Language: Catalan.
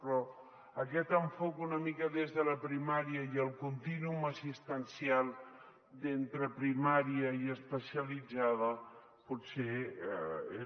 però aquest enfocament una mica des de la primària i el contínuum assistencial entre primària i especialitzada potser